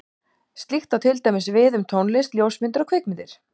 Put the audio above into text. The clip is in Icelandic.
Slíkt á til dæmis við um tónlist, ljósmyndir og kvikmyndir.